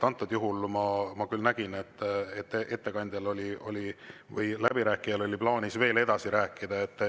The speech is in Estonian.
Antud juhul ma küll nägin, et ettekandjal või läbirääkijal oli plaanis veel edasi rääkida.